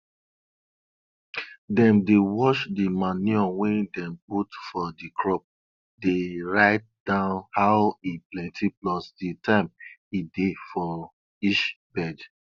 dem dey watch di manure wey dem put for di crop dey write down how e plenti plus di time e dey for each bed